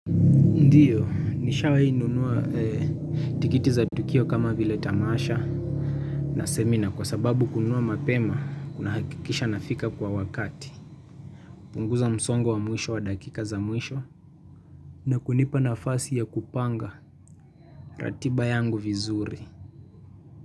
Ndiyo, nishawahi nunua tikiti za tukio kama vile tamasha na semina kwa sababu kunua mapema, kuna hakikisha nafika kwa wakati. Punguza msongo wa mwisho wa dakika za mwisho na kunipa nafasi ya kupanga ratiba yangu vizuri.